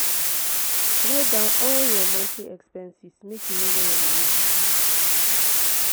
write down all your monthly expenses make you know where your moni dey go.